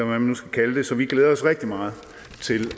man nu skal kalde det så vi glæder os rigtig meget til